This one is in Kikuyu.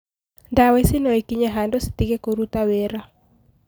Dawa ici noikinye handũ citige kũruta wĩra